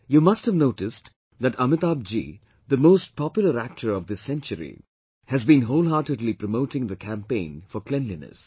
You must have noticed, that Amitabh Ji, the most popular actor of this century, has been wholeheartedly promoting the campaign for cleanliness